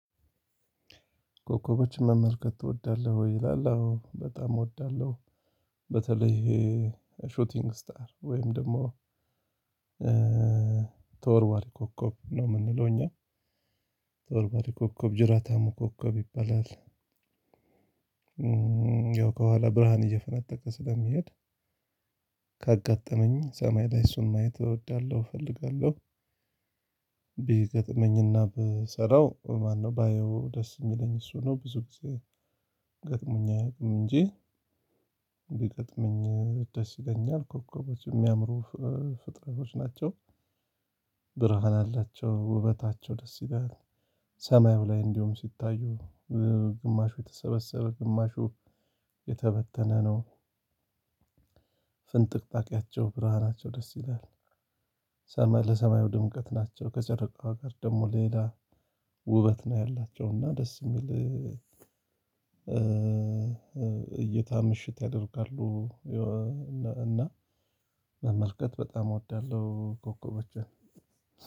ኮከቦችን መመልከት ትወዳለህ ይላል አዎ በጣም እወዳለሁ። በተለይ ይሄ ሾቲንግ ስታር ወይም ደግሞ ተወርዋሪ ኮከብ ነው የምንለው እኛ ተወርዋሪ ኮከብ ጅራታሙ ኮከብ ይባላል። ያው ከኋላ ብርሃን እየፈነጠቀ ስለሚሄድ ካጋጠመኝ ሰማይ ላይ እሱን ማየት እወዳለሁ እፈልጋለሁ። ቢገጥመኝና ብሰራው ማነው ባየው ደስ የሚለኝ እሱ ነው። ብዙ ጊዜ ገጥሞኝ አያውቅም እንጂ ቢገጥመኝ ደስ ይለኛል። ኮከቦች የሚያምሩ ፍጥረቶች ናቸው። ብርሃን አላቸው ውበታቸው ደስ ይላል። ሰማዩ ላይ እንዲሁም ሲታዩ ግማሹ የተሰበሰበ ግማሹ የተበተነ ነው። ፍንጥቅጣቂያቸው ብርሃናቸው ደስ ይላል። ሰማይ ለሰማዩ ድምቀት ናቸው ከጨረቃዋ ጋር ደግሞ ሌላ ውበት ነው ያላቸው እና ደስ የሚል እይታ ምሽት ያደርጋሉ። እና መመልከት በጣም እወዳለሁ ኮከቦችን።